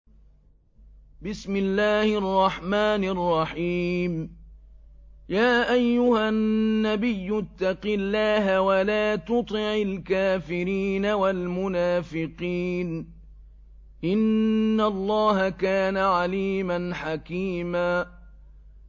يَا أَيُّهَا النَّبِيُّ اتَّقِ اللَّهَ وَلَا تُطِعِ الْكَافِرِينَ وَالْمُنَافِقِينَ ۗ إِنَّ اللَّهَ كَانَ عَلِيمًا حَكِيمًا